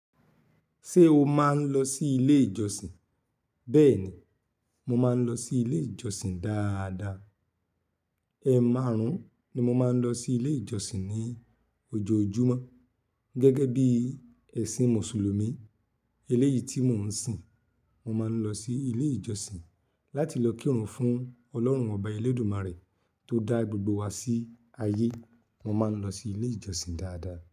Ṣé o máa ń lọ sí ilé ìjọsìn? Bẹ́ẹ̀ni, mo máa ń lọ sí ilé ìjọsìn dáadáa. Ẹ máàrún ni mo máa ń lọ sí ilé ìjọsìn ní ojoojúmọ́. Gẹ́gẹ́ bí ẹ̀sìn Mùsùlùmí, eléyìí tí mò ń sìn, mo máa ń lọ sí ilé ìjọsìn láti lọ kírun fún Ọlọ́run ọba Elédùmarè tó dá gbogbo wa sí ayé. Wọ́n máa ń lọ sí ilé ìjọsìn dáadáa.